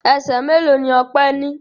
Ẹsẹ̀ mélòó ni Ọpẹ́ ní?